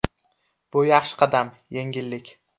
Bu yaxshi qadam, yengillik.